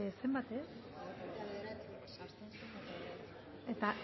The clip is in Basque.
izan da hirurogeita